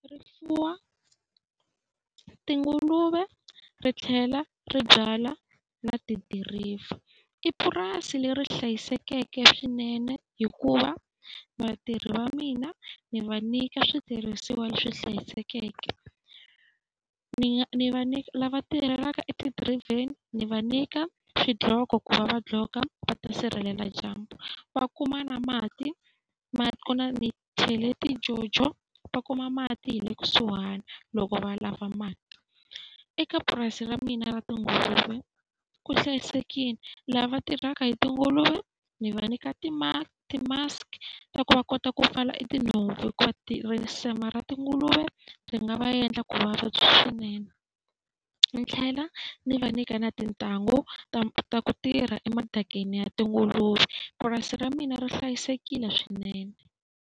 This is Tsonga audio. Ri fuwa tinguluve ri tlhela ri byala na tidiriva. I purasi leri hlayisekeke swinene hikuva vatirhi va mina ni va nyika switirhisiwa leswi hlayisekeke. Ni va lava tirhelaka etidirayiveni ni va nyika swidloko ku va va gqoka va ta sirhelela dyambu, va kuma na mati, mati ku na ni chele ti-jojo va kuma mati hi le kusuhani loko va lava mati. Eka purasi ra mina ra tinguluve ku hlayisekile, lava tirhaka hi tinguluve ni va nyika ti-mask ta ku va kota ku pfala tinhompfu hikuva risima ra tinguluve ti nga va endla ku vavabyi swinene. Ni tlhela ni va nyika na tintangu ta ta ku tirha emadakeni ya tinguluve. Purasi ra mina ri hlayisekile swinene.